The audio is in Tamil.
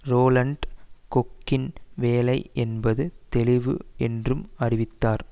ரோலண்ட் கொக்கின் வேலை என்பது தெளிவு என்றும் அறிவித்தார்